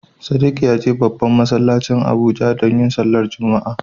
Sadiq ya je babban masallacin Abuja domin yin sallar Juma'a.